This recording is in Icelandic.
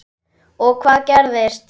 Og hvað gerist?